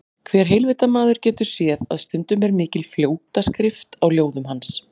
Hver heilvita maður getur séð að stundum er mikil fljótaskrift á ljóðum hans.